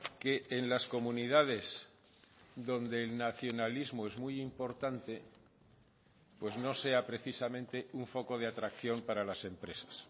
que en las comunidades donde el nacionalismo es muy importante pues no sea precisamente un foco de atracción para las empresas